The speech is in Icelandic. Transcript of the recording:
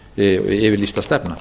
þessi yfirlýsta stefna